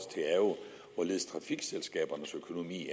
hvorledes trafikselskabernes økonomi